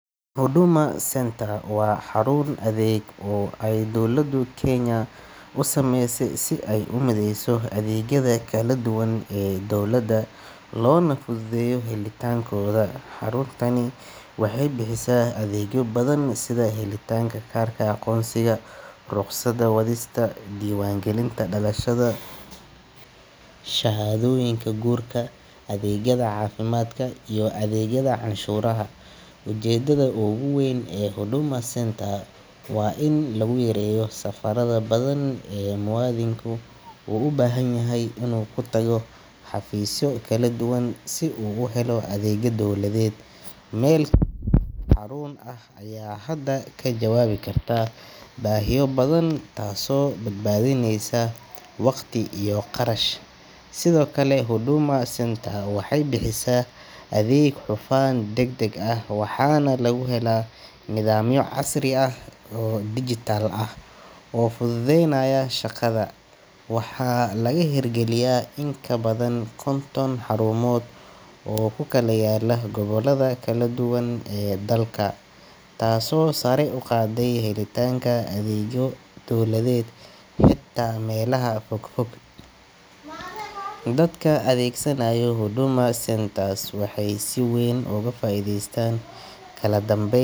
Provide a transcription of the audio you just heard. Huduma centre xarun adeeg oo ay dowladdu kenya u samaysay si ay u mideyso adeegyada kala duwan ee dawladda loo na fududeeyo helitaankooda xaruntani waxay bixisaa adeegyo badan sida helitaanka kaarka aqoonsiga ruqsadda wadista diiwaangelinta dhalashada shahaadooyinka guurka adeegyada caafimaadka iyo adeegyada canshuuraha ujeedada ugu weyn ee huduma centre waa in lagu yareeyo safaradaha badan ee muwaadinku u baahan yahay inuu ku tago xafiisyo kala duwan si uu u helo adeega dowladeed meel xaruun ah ayaa hadda ka jawaabi karta baahiyo badan taasoo badbaadineysa waqti iyo kharash sidoo kale huduma centre waxay bixisaa adeeg hufan deg deg ah waxaana lagu helaa nidaamyo casri ah oo dijitaal ah oo fududeynaya shaqada waxaa laga hirgeliyaa in ka badan konton xarumood oo ku kala yaalla gobollada kala duwan ee dalka taasoo sare u qaaday helitaanka adeegyo dawladeed hitaa melaha fog fog dadka adeegsanaya hudama centres waxay si weyn oga faa iideystan kala dambeyn.